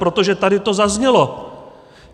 Protože tady to zaznělo.